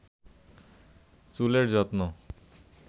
চুলের যত্ন